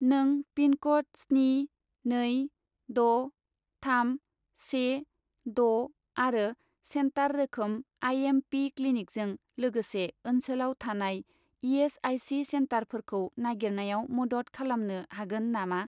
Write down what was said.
नों पिनक'ड स्नि नै द' थाम से द' आरो सेन्टार रोखोम आइ.एम.पि. क्लिनिकजों लोगोसे ओनसोलाव थानाय इ.एस.आइ.सि. सेन्टारफोरखौ नागिरनायाव मदद खालामनो हागोन नामा ?